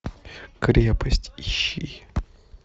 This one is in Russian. крепость ищи